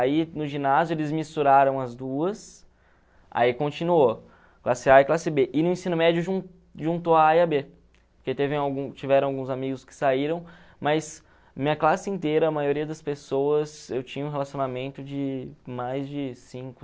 Aí, no ginásio, eles misturaram as duas, aí continuou, classe a e classe bê. E no ensino médio, ju juntou a a e a bê, porque teve al tiveram alguns amigos que saíram, mas minha classe inteira, a maioria das pessoas, eu tinha um relacionamento de mais de cinco